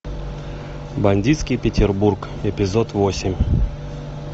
бандитский петербург эпизод восемь